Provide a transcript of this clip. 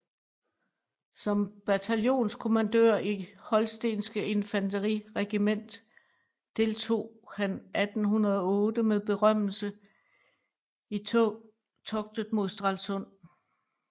Som bataljonskommandør i holstenske Infanteriregiment deltog han 1808 med berømmelse i toget mod Stralsund